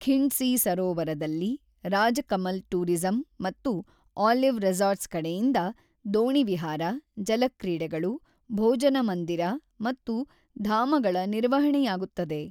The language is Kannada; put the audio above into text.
ಖಿಂಡ್ಸಿ ಸರೋವರದಲ್ಲಿ ರಾಜಕಮಲ್ ಟೂರಿಸಂ ಮತ್ತು ಆಲಿವ್ ರೆಸಾರ್ಟ್ಸ್ ಕಡೆಯಿಂದ ದೋಣಿವಿಹಾರ, ಜಲಕ್ರೀಡೆಗಳು, ಭೋಜನಮಂದಿರ ಮತ್ತು ಧಾಮಗಳ ನಿರ್ವಹಣೆಯಾಗುತ್ತದೆ.